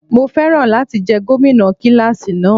Mo féràn láti jẹ́ gómìnà kíláàsì náà.